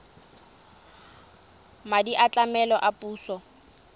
madi a tlamelo a puso